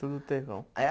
Tudo terrão. Aí a